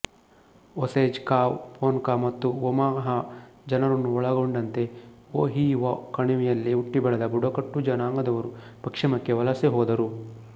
Osage Kaw Ponca ಮತ್ತು Omaha ಜನರನ್ನು ಒಳಗೊಂಡಂತೆ ಓಹಿಒ ಕಣಿವೆಯಲ್ಲಿ ಹುಟ್ಟಿಬೆಳೆದ ಬುಡಕಟ್ಟು ಜನಾಂಗದವರು ಪಶ್ಚಿಮಕ್ಕೆ ವಲಸೆ ಹೋದರು